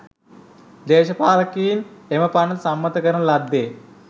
දේශපාලකයින් එම පනත සම්මත කරන ලද්දේ